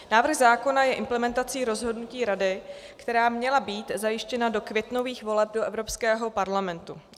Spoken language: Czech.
Návrh zákona je implementací rozhodnutí Rady, která měla být zajištěna do květnových voleb do Evropského parlamentu.